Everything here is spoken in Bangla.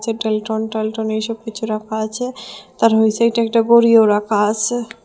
এইসব কিছু রাখা আছে তার একটা ঘড়িও রাখা আসে।